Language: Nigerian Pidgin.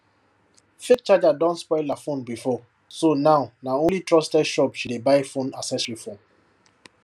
fake charger don spoil her phone before so now na only trusted shop she dey buy phone accessory from